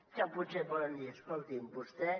que potser poden dir escolti’m vostè